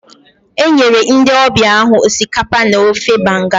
E nyere ndị ọbịa ahụ osikapa na ofe banga